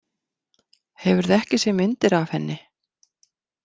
Hefurðu ekki séð myndir af henni?